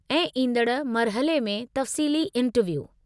ऐं ईंदड़ मरहले में तफ़्सीली इंटरव्यू।